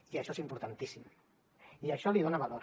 i això és importantíssim i això li dona valor